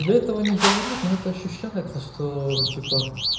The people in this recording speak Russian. тебе этого не говорят но это ощущается что типа